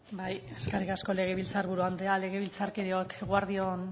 bai eskerrik asko legebiltzar buru anderea legebiltzarkideok eguerdi on